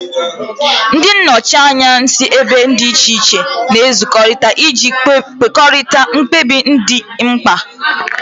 Ndị nnọchiteanya si ebe dị iche iche na-ezukọta iji kwurịta mkpebi ndị dị mkpa